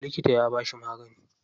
Likita ya bashi magani.